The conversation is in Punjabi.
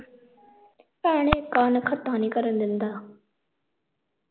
ਭੈਣ ਇਕ ਆ ਨਾਖ਼ੱਤਾ ਨੀ ਕਰਨ ਦਿੰਦਾ